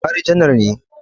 Buhari janar ne